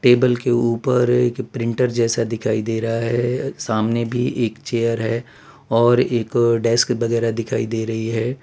Table के ऊपर एक प्रिंटर जैसा दिखाई दे रहा है सामने भी एक चेयर है और एक डेस्क वगेरह दिखाई दे रही है।